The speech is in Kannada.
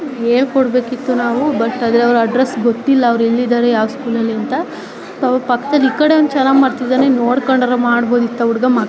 ಹೇಳ್ಕೊಡ ಬೇಕಿತ್ತು ನಾವು ಬಟ್ ಅದೇ ಅಡ್ರೆಸ್ ಗೊತ್ತಿಲ್ಲ ಅವರೆಲ್ಲಿದ್ದಾರೆ ಯಾವ್ ಸ್ಕೂಲ್ ಲ್ಲಿ ಅಂತ ಅವರ ಪಕ್ಕದಲ್ಲಿ ಈ ಕಡೆ ಅವನು ಚೆನ್ನಾಗ್ ಮಾಡ್ತಿದ್ದಾನೆ ನೋಡ್ಕೊಂಡ್ ಆದ್ರೂ ಮಾಡಬಹುದಿತ್ತು ಆ ಹುಡುಗ ಮಗ --